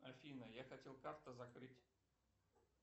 афина я хотел карту закрыть